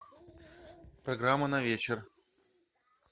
программа на вечер